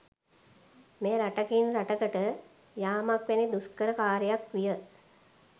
මෙය රටකින් රටකට යාමක් වැනි දුෂ්කර කාර්යයක් විය